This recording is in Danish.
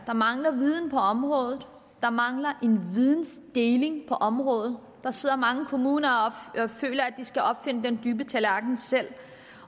der mangler viden på området der mangler videndeling på området der sidder mange kommuner og føler at de skal opfinde den dybe tallerken selv